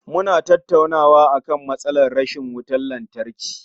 Suna tattaunawa akan matsalar rashin wutar lantarki